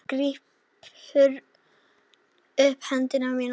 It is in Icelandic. Hann grípur um hönd mína.